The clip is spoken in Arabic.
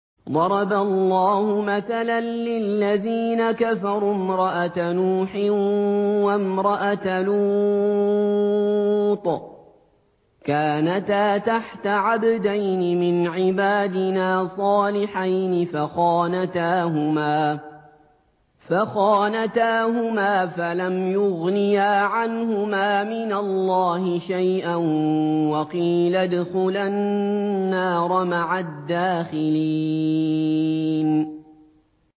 ضَرَبَ اللَّهُ مَثَلًا لِّلَّذِينَ كَفَرُوا امْرَأَتَ نُوحٍ وَامْرَأَتَ لُوطٍ ۖ كَانَتَا تَحْتَ عَبْدَيْنِ مِنْ عِبَادِنَا صَالِحَيْنِ فَخَانَتَاهُمَا فَلَمْ يُغْنِيَا عَنْهُمَا مِنَ اللَّهِ شَيْئًا وَقِيلَ ادْخُلَا النَّارَ مَعَ الدَّاخِلِينَ